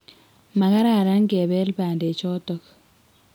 ma kararan kebelei bandek chotok